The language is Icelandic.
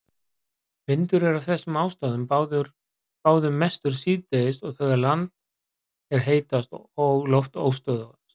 Vindur er af þessum ástæðum báðum mestur síðdegis þegar land er heitast og loft óstöðugast.